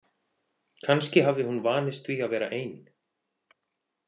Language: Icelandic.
Kannski hafði hún vanist því að vera ein.